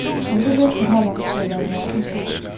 Om det løfte holder, skal jeg lade være usagt.